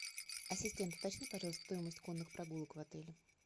ассистент уточни пожалуйста стоимость конных прогулок в отеле